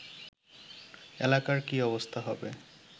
এলাকার কী অবস্থা হবে